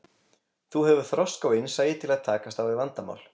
Þú hefur þroska og innsæi til að takast á við vandamál.